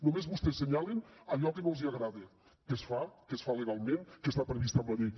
només vostès assenyalen allò que no els agrada que es fa que es fa legalment que està previst en la llei